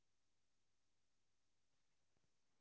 mam எவ்ளோ KG வேணும் mam cake உங்களுக்கு?